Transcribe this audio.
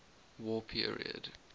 war period